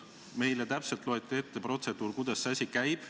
Meile loeti täpselt ette protseduur, kuidas see asi käib.